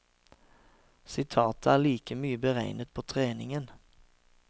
Sitatet er like mye beregnet på treningen.